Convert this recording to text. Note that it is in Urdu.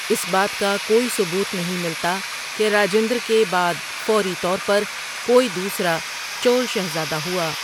اس بات کا کوئی ثبوت نہیں ملتا کہ راجندر کے بعد فوری طور پر کوئی دوسرا چول شہزادہ ہوا۔